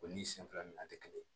O ni sen fila minɛnan tɛ kelen